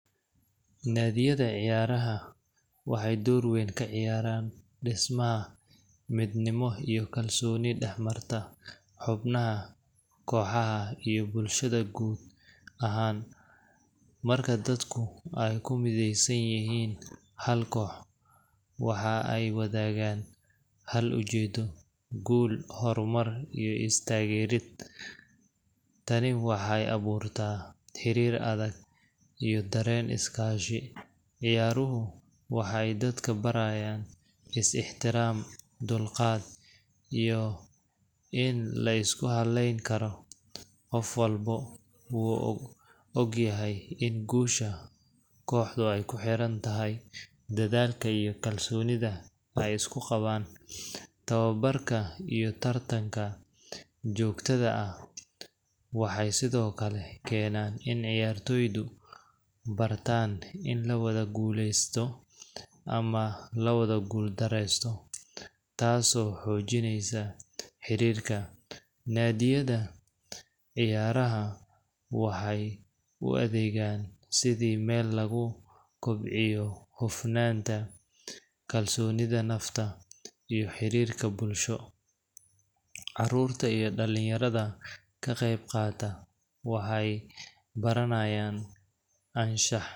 Naadiyada ciyaaraha waxay door weyn ka ciyaaraan dhismaha midnimo iyo kalsooni dhex marta xubnaha kooxaha iyo bulshada guud ahaan. Marka dadku ay ku mideysan yihiin hal koox, waxa ay wadaagaan hal ujeeddo guul, horumar iyo is taageer. Tani waxay abuurtaa xiriir adag iyo dareen iskaashi. Ciyaaruhu waxay dadka barayaan is-ixtiraam, dulqaad, iyo in la isku halleyn karo qof walba wuu ogyahay in guusha kooxdu ku xiran tahay dadaalka iyo kalsoonida ay isku qabaan. Tababarka iyo tartanka joogtada ah waxay sidoo kale keenaan in ciyaartoydu bartaan in la wada guuleysto ama la wada guuldareysto, taasoo xoojinaysa xiriirka. Naadiyada ciyaaraha waxay u adeegaan sidii meel lagu kobciyo hufnaanta, kalsoonida nafta, iyo xiriirka bulsho. Carruurta iyo dhalinyarada ka qaybqaata waxay baranayaan anshax.